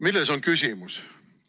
Milles on küsimus?